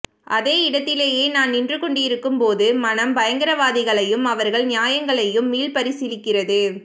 அதே இடத்திலே நான் நின்று கொண்டிருக்கும்போது மனம் பயங்கரவாதிகளையும் அவர்கள் நியாயங்களையும் மீள்பரிசீலிக்கிறது